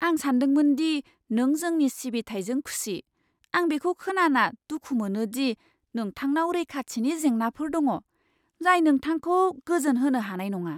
आं सानदोंमोन दि नों जोंनि सिबिथाइजों खुसि। आं बेखौ खोनाना दुखु मोनो दि नोंथांनाव रैखाथिनि जेंनाफोर दङ, जाय नोंथांखौ गोजोन होनो हानाय नङा।